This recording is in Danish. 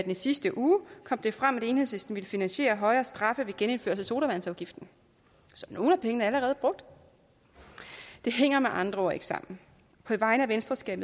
i sidste uge kom det frem at enhedslisten ville finansiere højere straffe ved at genindføre sodavandsafgiften så nogle af pengene er allerede brugt det hænger med andre ord ikke sammen på vegne af venstre skal